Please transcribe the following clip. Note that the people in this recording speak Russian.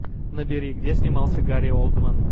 набери где снимался гари олдман